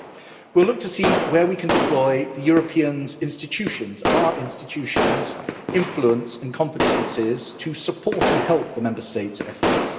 We will look to see where we can deploy European institutions' our institutions influence and competences to support and help the Member States' efforts.